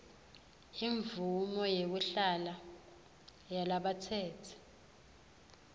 imvumo yekuhlala yalabatsetse